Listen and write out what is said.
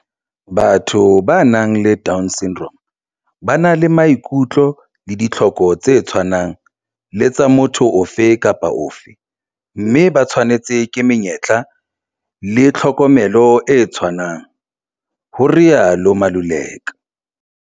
"Batho ba nang le DS ba na le maikutlo le ditlhoko tse tshwanang le tsa motho ofe kapa ofe mme ba tshwanetswe ke menyetla le tlhokomelo e tshwanang,"ho rialo Maluleka.